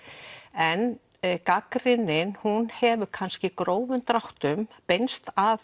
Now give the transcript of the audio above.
en gagnrýnin hún hefur kannski í grófum dráttum beinst að